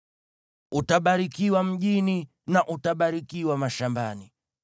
Utabarikiwa mjini na utabarikiwa mashambani.